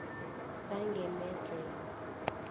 sangemedhlela